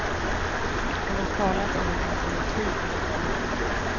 Han har talat om en alternativ finansiering.